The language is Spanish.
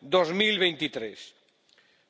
2023